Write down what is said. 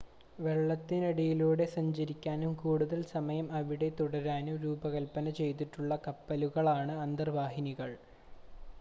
വെള്ളത്തിനടിയിലൂടെ സഞ്ചരിക്കാനും കൂടുതൽ സമയം അവിടെ തുടരാനും രൂപകൽപ്പന ചെയ്തിട്ടുള്ള കപ്പലുകളാണ് അന്തർവാഹിനികൾ